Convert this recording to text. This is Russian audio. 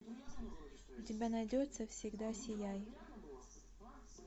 у тебя найдется всегда сияй